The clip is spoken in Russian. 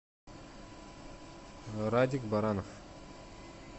радик баранов